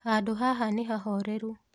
Handũ haha nĩhahoreru.